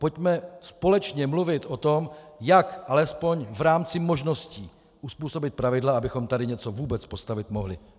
Pojďme společně mluvit o tom, jak alespoň v rámci možností uzpůsobit pravidla, abychom tady něco vůbec postavit mohli.